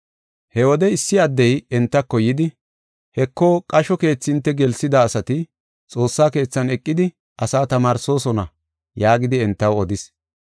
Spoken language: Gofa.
He wode issi addey entako yidi, “Heko, qasho keethi hinte gelsida asati xoossa keethan eqidi asaa tamaarsoosona” yaagidi entaw odis.